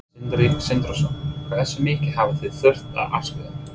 Sindri Sindrason: Hversu mikið hafið þið þurft að afskrifa?